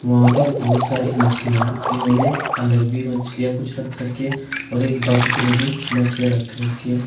वहां पर बोहोत सारी मछलियां हैं। इन्होंने अलग भी मछलियां कुछ रख रखी है और एक बकेट में भी मछलियां रख रखी हैं।